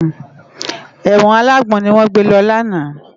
Èwòn àlágbòn niwòn gbé lò làná